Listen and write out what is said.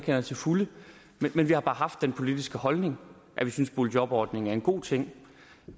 jeg til fulde men vi har bare den politiske holdning at vi synes boligjobordningen er en god ting